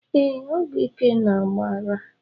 Ee, ọgwụ ike na-agba ara